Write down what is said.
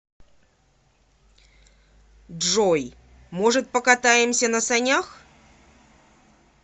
джой может покатаемся на санях